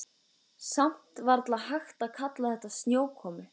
Samt varla hægt að kalla þetta snjókomu.